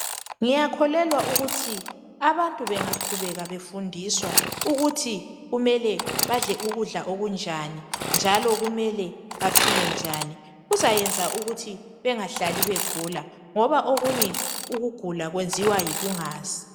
Ngiyakhuleka ukuthi abantu bengaqhubeka befundiswa ukuthi kumele badle ukudla okunjani njalo kumele baphile njani kuzayenza ukuthi bengahlali begula ngoba okunye ukugula kwenziwa yikungazi.